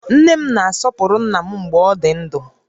Nne m na-asọpụrụ ńnà m mgbè ọ dị ndụ